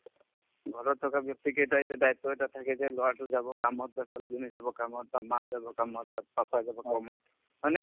ঘৰত থকা ব্যক্তি কেইটায়ে যে দায়িত্ব এটা থাকে যে লৰাটো যাব কামত বা ছোৱালীজনী যাব কামত বা মা যাব কামত বা papa যাব কামত হয়নে ?